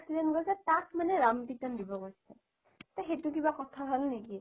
যিয়ে accident কৰিছে তাক মানে ৰাম পিতন দিব গৈছে সেইটো কিবা কথা হল নেকি